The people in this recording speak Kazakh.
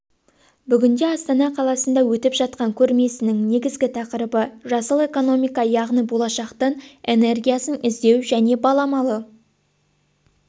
бүгінде астана қаласында өтіп жатқан көрмесінің негізгі тақырыбы жасыл экономика яғни болашақтың энергиясын іздеу және баламалы